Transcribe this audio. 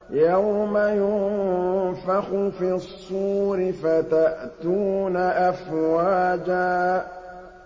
يَوْمَ يُنفَخُ فِي الصُّورِ فَتَأْتُونَ أَفْوَاجًا